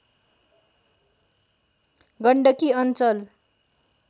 गण्डकी अञ्चल